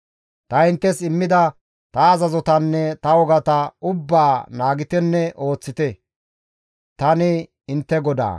« ‹Ta inttes immida ta azazotanne ta wogata ubbaa naagitenne ooththite; tani intte GODAA.› »